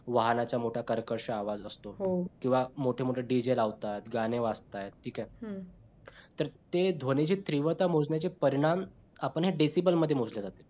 वाहनांचा मोठा कर्कश आवाज असतो किंवा मोठे मोठे dj लावतात गाणी वजातये ठीक आहे. तर ते ध्वनीची तीव्रता मोजण्याचे परिणाम आपण decibels मध्ये मोजलं जात.